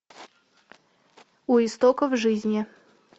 у истоков жизни